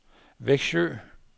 Vexjö